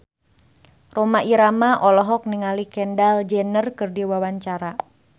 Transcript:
Rhoma Irama olohok ningali Kendall Jenner keur diwawancara